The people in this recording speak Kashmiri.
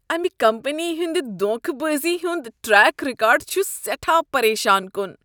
امہ کمپنی ہنٛدِ دھوکہٕ بٲزی ہُند ٹریک ریکارڈ چھ سیٹھاہ پریشان کن۔